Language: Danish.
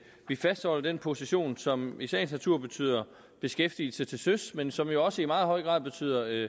vi fastholder den position som i sagens natur betyder beskæftigelse til søs men som jo også i meget høj grad betyder